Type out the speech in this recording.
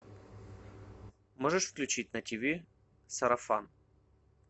можешь включить на ти ви сарафан